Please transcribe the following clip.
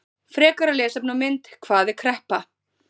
Frekara lesefni og mynd: Hvað er kreppa?